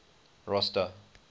rosta